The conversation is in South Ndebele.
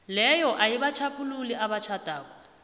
leyo ayibatjhaphululi abatjhadako